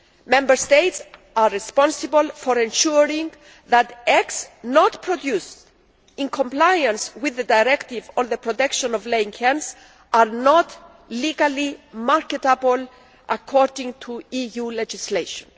Member States are responsible for ensuring that eggs not produced in compliance with the directive on the protection of laying hens are not legally marketable according to EU legislation.